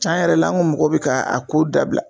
Tiɲan yɛrɛ la an ka mɔgɔw bɛ k ka a ko dabila